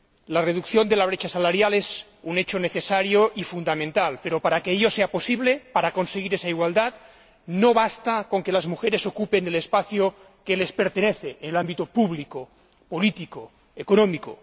La reducción de la brecha salarial es un hecho necesario y fundamental, pero para que ello sea posible, para conseguir esa igualdad, no basta con que las mujeres ocupen el espacio que les pertenece en el ámbito público, político y económico.